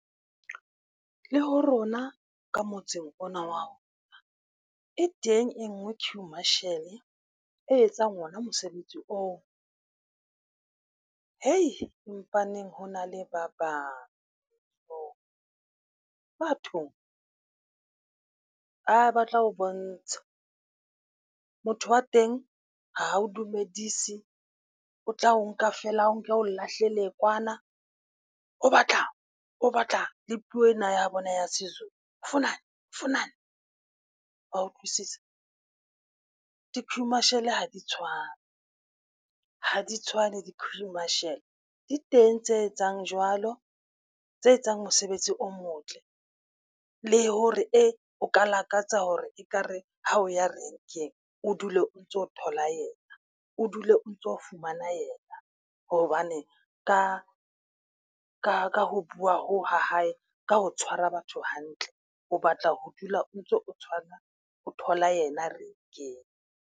Le ho rona ka motseng ona wa rona e teng e nngwe queue marshal e etsang ona mosebetsi oo. , empaneng hona le ba bang ho bathong, a batla ho bontsha. Motho wa teng ha o dumedise, o tla o nka feela o nke o lahlele kwana. o batlang o batlang? Le puo ena ya bona ya SeZulu. Ufunane? Ufunane? wa utlwisisa? Di-Queue Marshal ha di tshwane ha di tshwane di-Queue Marshal. Di teng tse etsang jwalo, tse etsang mosebetsi o motle, le hore e o ka lakatsa hore ekare ha o ya renkeng, o dule o ntso o thola yena o dule o ntso fumana yena hobane ka ho bua hoo ha hae, ka ho tshwara batho hantle, o batla ho dula o ntso o tshwana, ho thola ena rank-eng.